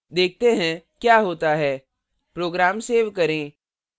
देखते हैं क्या होता है program सेव करें